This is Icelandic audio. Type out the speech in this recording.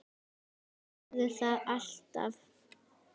Hún verður það alltaf